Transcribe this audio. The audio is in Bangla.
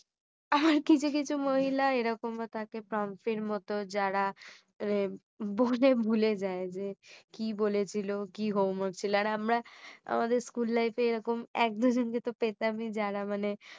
কিছু কিছু মহিলা এরকমও থাকে . এর মতো যারা এ বলে ভুলে যাই যে কি বলেছিলো কি homework ছিল আর আমরা আমাদের school life এ এরকম এক দুজনকে তো পেতামই যারা মানে